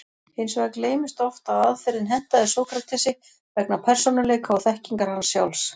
Hins vegar gleymist oft að aðferðin hentaði Sókratesi vegna persónuleika og þekkingar hans sjálfs.